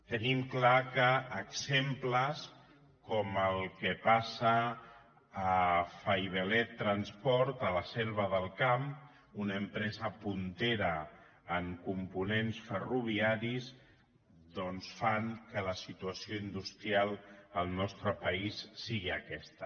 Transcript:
tenim clar que exemples com el que passa a faiveley transport a la selva del camp una empresa puntera en components ferroviaris doncs fan que la situació industrial al nostre país sigui aquesta